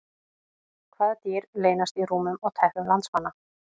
Hvaða dýr leynast í rúmum og teppum landsmanna?